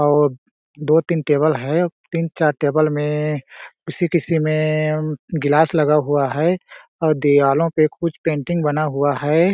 और दो -तीन टेबल है तीन- चार टेबल में किसी-किसी में गिलास लगा हुआ है और दिवालो पे कुछ पेंटिंग बना हुआ हैं ।